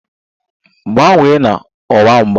Gbanwee na ọwa mgba!